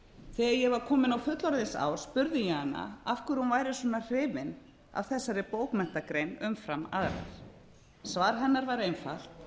þegar ég var komin á fullorðinsár spurði ég hana af hverju hún væri svona hrifin af þessari bókmenntagrein umfram aðrar svar hennar var einfalt